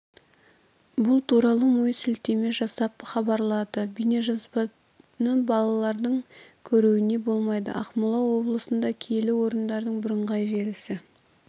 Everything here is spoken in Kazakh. бұл туралы мой сілтеме жасап хабарлады бейнежазбаны балалардың көруіне болмайды ақмола облысында киелі орындардың бірыңғай желісі